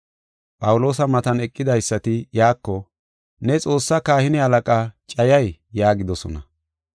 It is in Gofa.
Phawuloosa matan eqidaysati iyako, “Ne Xoossaa kahine halaqaa cayay?” yaagidosona.